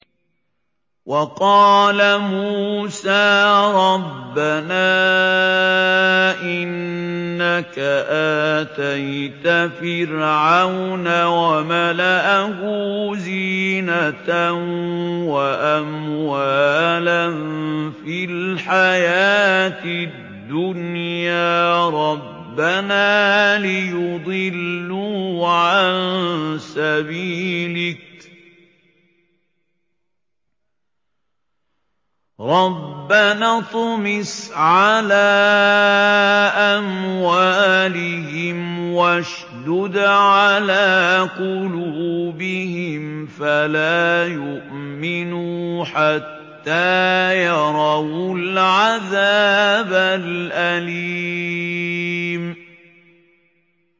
وَقَالَ مُوسَىٰ رَبَّنَا إِنَّكَ آتَيْتَ فِرْعَوْنَ وَمَلَأَهُ زِينَةً وَأَمْوَالًا فِي الْحَيَاةِ الدُّنْيَا رَبَّنَا لِيُضِلُّوا عَن سَبِيلِكَ ۖ رَبَّنَا اطْمِسْ عَلَىٰ أَمْوَالِهِمْ وَاشْدُدْ عَلَىٰ قُلُوبِهِمْ فَلَا يُؤْمِنُوا حَتَّىٰ يَرَوُا الْعَذَابَ الْأَلِيمَ